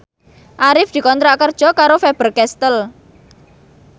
Arif dikontrak kerja karo Faber Castel